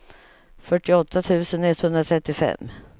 fyrtioåtta tusen etthundratrettiofem